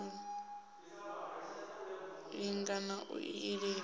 linga na u ilafha ṋama